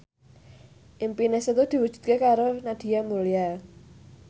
impine Setu diwujudke karo Nadia Mulya